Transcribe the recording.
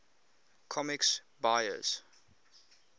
comics buyer s